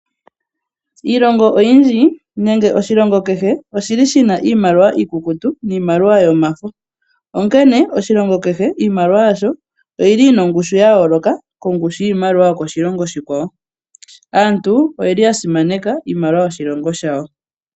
Iilongo oyindji, nenge oshilongo kehe oshi li shina iimaliwa iikukutu niimaliwa yomafo. Onkene oshilongo kehe, iimaliwa yasho oyi li yina ongushu ya yooloka kongushu yiimaliwa yokoshilongo oshikwawo. Aantu oye li ya simaneka iimaliwa yoshilongo shawo.